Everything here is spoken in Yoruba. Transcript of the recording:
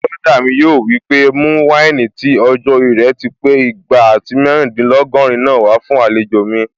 Bùrọ̀dá mi yóò wí pé "mú wáìnì tí ọjọ́-orí rẹ̀ ti pé igba àti mẹ́rìndínlógọ́rin náà wá fún àlejò mi"